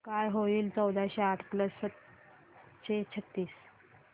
काय होईल चौदाशे आठ प्लस सातशे छ्त्तीस